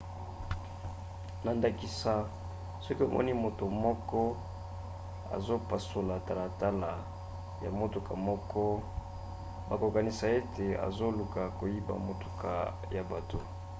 na ndakisa soki omoni moto moko azopasola talatala ya motuka moko bokokanisa ete azoluka koyiba motuka ya bato